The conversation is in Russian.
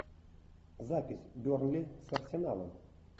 запись бернли с арсеналом